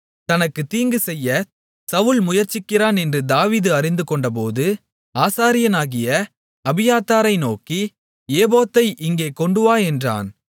தனக்கு தீங்கு செய்யச் சவுல் முயற்சிக்கிறான் என்று தாவீது அறிந்துகொண்டபோது ஆசாரியனாகிய அபியத்தாரை நோக்கி ஏபோத்தை இங்கே கொண்டுவா என்றான்